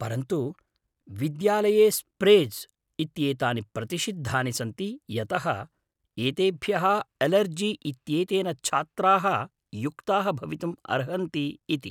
परन्तु विद्यालये स्प्रेज् इत्येतानि प्रतिषिद्धानि सन्ति यतः एतेभ्यः एलर्जी इत्येतेन छात्राः युक्ताः भवितुम् अर्हन्ति इति ।